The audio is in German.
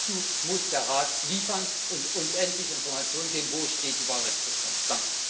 Dazu muss der Rat liefern und uns endlich Informationen geben, wo die Wahlrechtsreform steht.